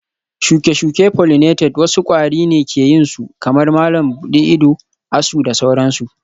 shuke-shuke pollinated wasu kwari ne ke yin su kamar malam buɗe ido, asu da sauransu